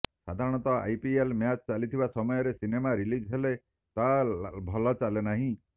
ସାଧାରଣତଃ I P L match ଚାଲିଥିବା ସମୟରେ ସିନେମା ରିଲିଜ୍ ହେଲେ ତାହା ଭଲ ଚାଲେ ନାହିଁ